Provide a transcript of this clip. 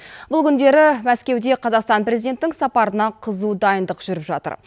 бұл күндері мәскеуде қазақстан президентінің сапарына қызу дайындық жүріп жатыр